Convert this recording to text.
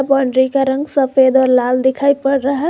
Boundary का रंग सफेद और लाल दिखाई पड़ रहा है।